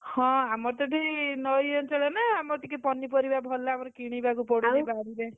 ହଁ, ଆମର ତ ଏଠେଇ ନଇ ଅଞ୍ଚଳ ନା ଆମର ଟିକେ ପନିପରିବା ଭଲ ଆମର କିଣିବାକୁ ପଡୁନି ଏତେ।